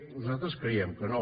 nosaltres creiem que no